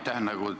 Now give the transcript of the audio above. Aitäh!